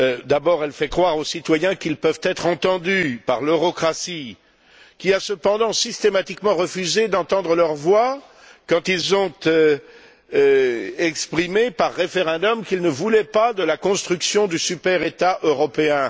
D'abord elle fait croire aux citoyens qu'ils peuvent être entendus par l'eurocratie, qui a cependant systématiquement refusé d'entendre leurs voix quand ils ont exprimé, par référendum, qu'ils ne voulaient pas de la construction du super État européen.